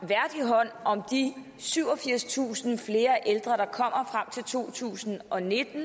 hånd om de syvogfirstusind flere ældre der kommer frem til to tusind og nitten